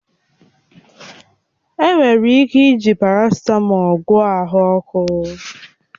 Enwere ike iji parasịtamọl gwọọ ahụ ọkụ